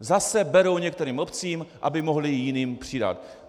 Zase berou některým obcím, aby mohli jiným přidat.